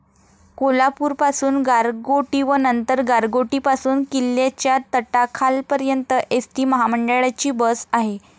कोल्हापूरपासून गारगोटी व नंतर गारगोटीपासून किल्ल्याच्या तटाखालपर्यंत एस टी महामंडळाची बस आहे.